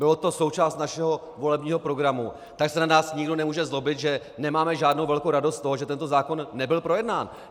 Byla to součást našeho volebního programu, tak se na nás nikdo nemůže zlobit, že nemáme žádnou velkou radost z toho, že tento zákon nebyl projednán.